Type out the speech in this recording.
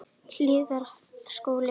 Hlíðarskóla